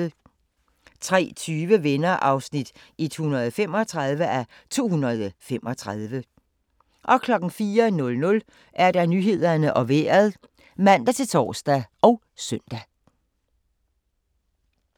03:20: Venner (135:235) 04:00: Nyhederne og Vejret (man-tor og søn)